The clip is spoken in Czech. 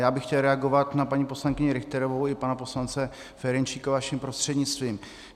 Já bych chtěl reagovat na paní poslankyni Richterovou i pana poslance Ferjenčíka vaším prostřednictvím.